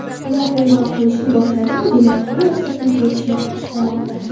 Ular qo‘ng‘iroq qilishni boshladimi, demak, hammasi tinch o‘tishini istamoqda.